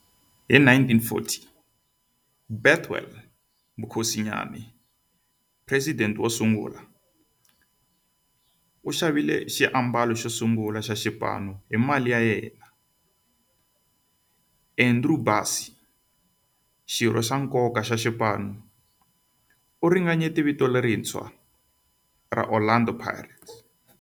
Hi 1940, Bethuel Mokgosinyane, president wosungula, u xavile xiambalo xosungula xa xipano hi mali ya yena. Andrew Bassie, xirho xa nkoka xa xipano, u ringanyete vito lerintshwa ra Orlando Pirates.